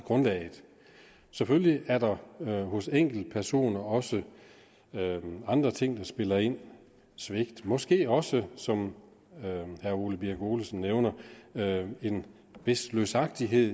selvfølgelig er der hos enkeltpersoner også andre ting der spiller ind svigt og måske også som herre ole birk olesen nævner en vis løsagtighed